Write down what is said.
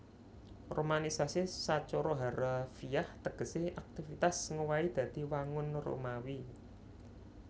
Romanisasi sacara harafiah tegesé aktivitas ngowahi dadi wangun Romawi